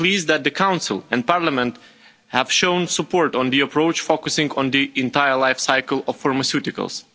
We are pleased that the Council and Parliament have shown support for the approach, focusing on the entire life cycle of pharmaceuticals.